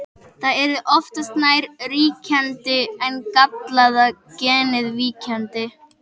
Það yrði oftast nær ríkjandi en gallaða genið víkjandi.